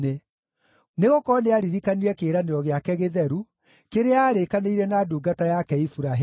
Nĩgũkorwo nĩaririkanire kĩĩranĩro gĩake gĩtheru kĩrĩa aarĩkanĩire na ndungata yake Iburahĩmu.